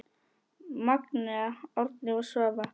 Magnea, Árni og Svava.